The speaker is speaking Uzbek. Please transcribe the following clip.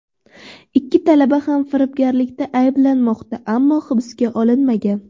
Ikki talaba ham firibgarlikda ayblanmoqda, ammo hibsga olinmagan.